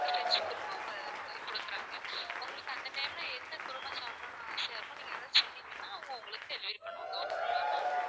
veg குருமாவும் குடுக்குறாங்க உங்களுக்கு அந்த time ல எந்த குருமா சாப்பிடணும்னு ஆசையா இருக்கோ நீங்க அதை சொன்னீங்கன்னா அவங்க உங்களுக்கு delivery பண்ணுவாங்க okay ங்களா ma'am